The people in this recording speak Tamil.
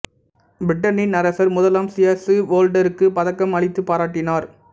பிரிட்டனின் அரசர் முதலாம் சியார்ச்சு வோல்டேருக்கு பதக்கம் அளித்து பாராட்டினார்